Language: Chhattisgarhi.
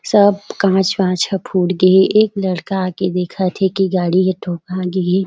सब कांच वाच ह फुट गे हे एक लड़का आके देखत हे की गाड़ी के ठोका गे हे।